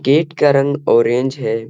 Gate का रंग orange है।